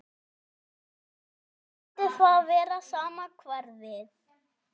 Skyldi það vera sama hverfið?